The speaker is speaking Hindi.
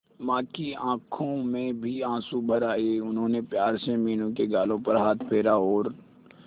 मां की आंखों में भी आंसू भर आए उन्होंने प्यार से मीनू के गालों पर हाथ फेरा और